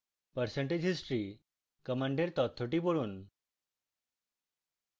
percentage history command তথ্যটি পড়ুন